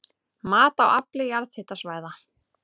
Mat á afli jarðhitasvæða